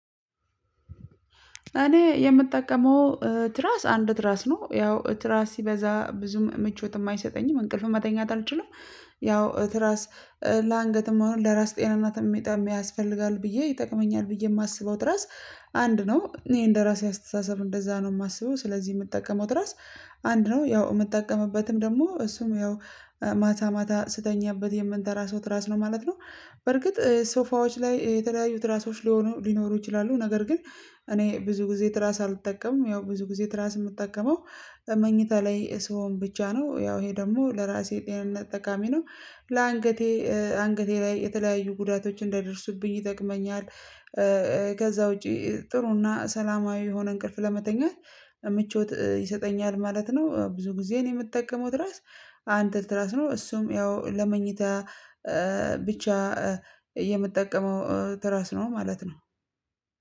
እኔ የምጠቀመው ትራስ አንድ ትራስ ነው ያው ትራስ ሲበዛ ብዙ ምቾት የማይሰጠኝም እንቅልፍ መተኛት አልችልም። ያው ትራስ ለአንገትም አሁን ለራስ ጤናናትም ሜጣ ያስፈልጋል ብዬ ይጠቅመኛል ብዬ የማስበው ትራስ አንድ ነው። እኔ እንደራሴ አስተሳሰብ እንደዛ ነው የማስበው ስለዚህ የምጠቀመው ትራስ አንድ ነው። ያው የምጠቀምበትም ደግሞ እሱም ያው ማታ ማታ ስተኛበት የምንተራሰው ትራስ ነው ማለት ነው። በርግጥ ሶፋዎች ላይ የተለያዩት ትራሶች ሊሆኑ ሊኖሩ ይችላሉ ነገር ግን። እኔ ብዙ ጊዜ ትራስ አልጠቀምም። ያው ብዙ ጊዜ ትራስ የምጠቀመው መኝታ ላይ ሰሆን ብቻ ነው። ያው ይሄ ደግሞ ለራሴ ጤንነት ጠቃሚ ነው። ለአንገቴ አንገቴ ላይ የተለያዩ ጉዳቶች እንደይደርሱብኝ ይጠቅመኛል። ከዛ ውጪ ጥሩና ሰላማዊ የሆነ እንቅልፍ ለመተኛት ምቾት ይሰጠኛል ማለት ነው። ብዙ ጊዜ እኔ የምጠቀመው ትራስ አንድ ትራስ ነው። እሱም ያው ለመኝታ ብቻ የምጠቀመው ትራስ ነው ማለት ነው።